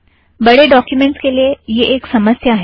बड़े ड़ॉक्यूमेंटज़ के लिए यह एक समस्या है